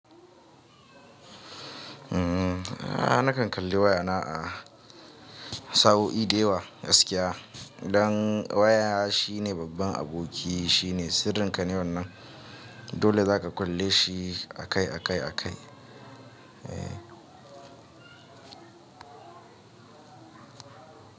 Uhm, a nakan kalli waya na a sa'o'i da yawa Idan waya shine babban aboki, shine sirrin ka ne wannan. Dole zaka kalle shi akai akai akai. Eh.